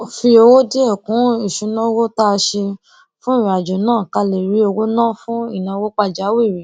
a fi owó díè kún ìṣúnáowó tá a ṣe fún ìrìnàjò náà ká lè rí owó ná fún ìnáwó pàjáwìrì